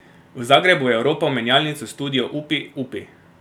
V Zagrebu je oropal menjalnico Studio Upi, upi.